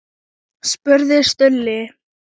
spurði Stulli.